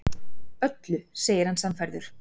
Öllu, segir hann sannfærður.